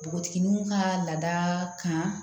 Npogotigininw ka lada kan